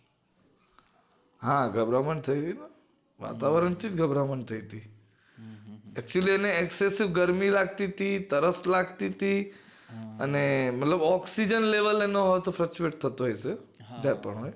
હા ગભરામણ થઈ તી ને અને વાતવરણ થી જ ગભરામણ થઈ હતી actually એક તો ગરમી લાગતી તી તરસ લાગતી તી અને મતલબ oxygen level એ નો